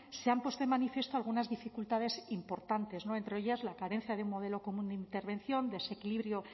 se han puesto de manifiesto algunas dificultades importantes entre ellas la carencia de un modelo común de intervención desequilibrio